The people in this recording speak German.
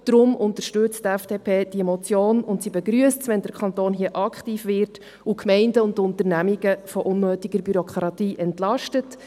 Darum unterstützt die FDP die Motion und sie begrüsst es, wenn der Kanton hier aktiv wird und die Gemeinden und Unternehmungen von unnötiger Bürokratie entlastet.